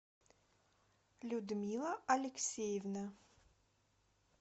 людмила алексеевна